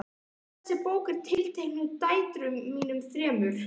Þessi bók er tileinkuð dætrum mínum þremur.